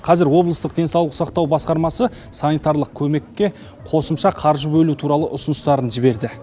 қазір облыстық денсаулық сақтау басқармасы санитарлық көмекке қосымша қаржы бөлу туралы ұсыныстарын жіберді